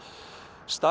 start